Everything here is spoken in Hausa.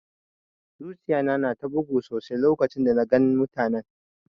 Zuciya na na ta bugu sosai lokacin da na gan mutanen.